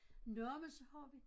Nåh men så har vi